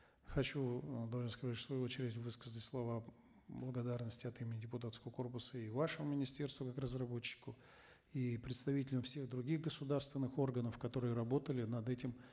хочу э должен сказать в свою очередь высказать слова благодарности от имени депутатского корпуса и вашему министерству как разработчику и представителям всех других государственных органов которые работали над этим